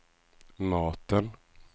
maten